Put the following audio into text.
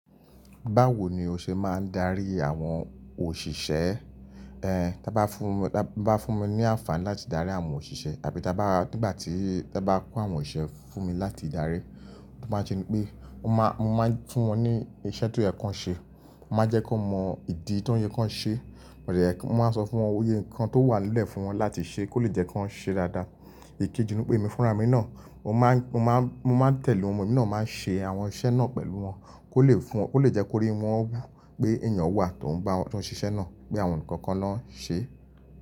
Báwo ni o ṣe máa ń darí àwọn òṣìṣẹ́? Eh, ti won bá fún mi, bá fún mi ní àǹfààní láti darí àwọn òṣìṣẹ́ àbí ta bá nìgbà tí won bá kó àwọn iṣẹ́ fún mi láti darí, mo máa ṣe ni pé mo máa, mo máa fún wọn ní iṣẹ́ tó yẹ kó ṣe, mo máa jẹ́ kó mọ ìdí tó yẹ kó ṣe, mo máa sọ fún wọn ohun gbogbo nǹkan tó wà nílẹ̀ fún wọn láti ṣe kó lè jẹ́ kó ṣe dáadáa. Èkejì ni pé èmi fúnra mi náà, mo máa, mo máa tẹ̀lé wọn, èmi náà máa ṣe àwọn iṣẹ́ náà pẹ̀lú wọn kó lè fún, kó lè jẹ́ kó ríi wọn wu pé ènìyàn wà tó ń bá wọn to n ṣẹ́ iṣẹ́ náà pé àwọn ni kan ko lọ́ n ṣe.